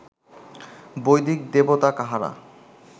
বৈদিক দেবতা কাহারা